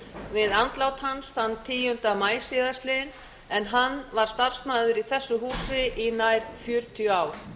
við andlát hans þann tíunda maí síðastliðinn en hann var starfsmaður í þessu húsi í nær fjörutíu ár